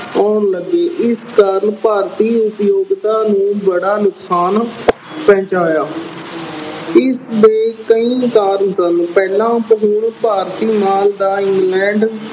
ਆਉਣ ਲੱਗੀ। ਇਸ ਕਾਰਨ ਭਾਰਤੀ ਉਦਯੋਗਤਾ ਨੂੰ ਬੜਾ ਨੁਕਸਾਨ ਪਹੁੰਚਾਇਆ। ਇਸ ਦੇ ਕਈ ਕਾਰਨ ਸਨ। ਪਹਿਲਾ ਭਾਰਤੀ ਮਾਲ ਦਾ England